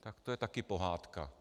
Tak to je taky pohádka.